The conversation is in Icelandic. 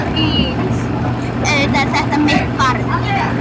Auðvitað er þetta mitt barn